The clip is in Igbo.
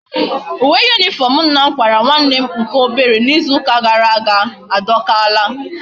Uwe uniform nna m kwara nwa nne nke obere na Izu uka gara aga a dokala